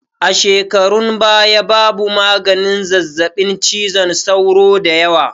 A shekarun baya babu maganin zazzaɓin cizon sauro dayawa